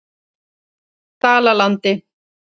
Dalalandi